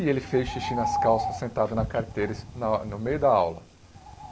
E ele fez xixi nas calças, sentado na carteira, isso na no meio da aula.